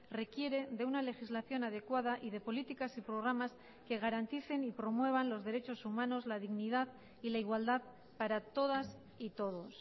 requiere de una legislación adecuada y de políticas y programas que garanticen y promuevan los derechos humanos la dignidad y la igualdad para todas y todos